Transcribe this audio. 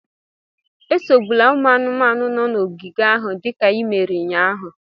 Esogbula ụmụ anụmanụ nọ n'ogige ahụ dịka i mere ụnyahụ